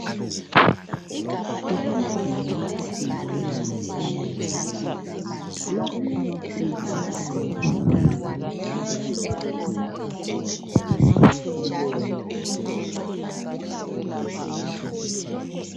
Kusendlini yokufundela eyunivesithi lapho abafundi besayenza izifundo aba fundela khona amabhakane afakiwe ukuze kukhanye okubhaliweyo.